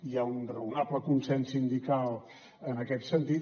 hi ha un raonable consens sindical en aquest sentit